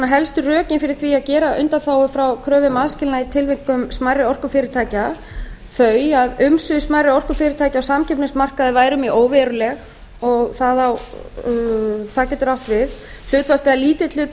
helstu rökin fyrir því að gera undanþágu frá kröfu um aðskilnað í tilvikum smærri orkufyrirtækja þau að umsvif smærri orkufyrirtækja á samkeppnismarkaði væru mjög óveruleg og það getur átt við hlutfallslega lítill hluti